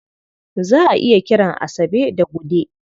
Za a iya kiran Asabe da Gude.